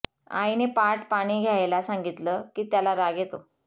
आईने पाट पाणी घ्यायला सांगितल की त्याला राग येतो